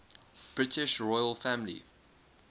british royal family